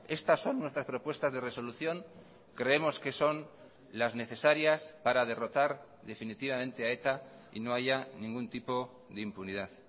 estas son nuestras propuestas de resolución creemos que son las necesarias para derrotar definitivamente a eta y no haya ningún tipo de impunidad